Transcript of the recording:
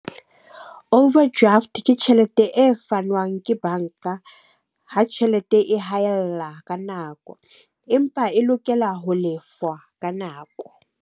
Overdraft ke tjhelete e fanwang ke banka ha tjhelete e haella ka nako. Empa e lokela ho lefwa ka nako.